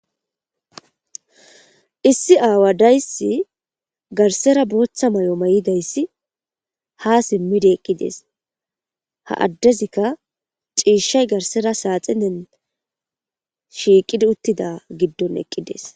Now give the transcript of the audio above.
Issi awadaysi garsera botha mayo mayidaysi ha simidi eqides ha adezika c'ishay garsera saxinen shiqidi utida gidon eqides.